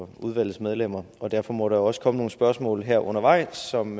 for udvalgets medlemmer og derfor må der jo også komme nogle spørgsmål her undervejs som